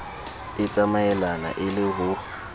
e tsamaelane e le ho